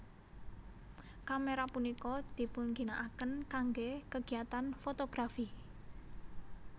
Kamera punika dipunginakaken kangge kegiatan fotografi